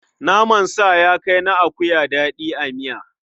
Naman sa ya kai na akuya daɗi a miya.